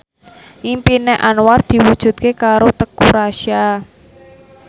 impine Anwar diwujudke karo Teuku Rassya